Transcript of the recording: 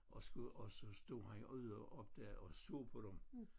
Og skulle og så stod han ude oppe der og så på dem